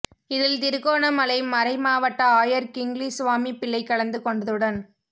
இதில் திருகோணமலை மறை மாவட்ட ஆயர் கிங்லி சுவாமிப்பிள்ளை கலந்து கொண்டதுடன்